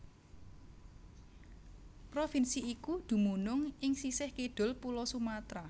Provinsi iku dumunung ing sisih kidul Pulo Sumatra